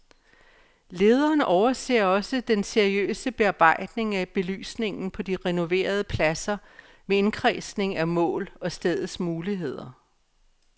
Lederen overser også den seriøse bearbejdning af belysningen på de renoverede pladser med indkredsning af mål og stedets muligheder.